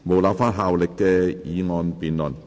無立法效力的議案辯論。